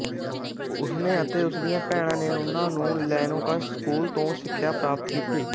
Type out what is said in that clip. ਉਸ ਨੇ ਅਤੇ ਉਸ ਦੀਆਂ ਭੈਣਾਂ ਨੇ ਉਹਨਾਂ ਨੂੰ ਲੇਨੋਕਸ ਸਕੂਲ ਤੋਂ ਸਿੱਖਿਆ ਪ੍ਰਾਪਤ ਕੀਤੀ